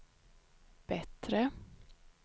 bättre